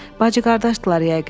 Bacı-qardaşdırlar yəqin.